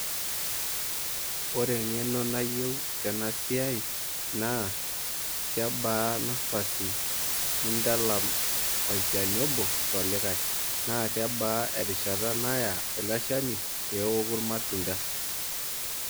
Ore eng'eno nayieu tena siai naa kebaa nafasi nintalam olchani obo tolikae naa kebaa erishata naya eleshani pee eoku irmatunda.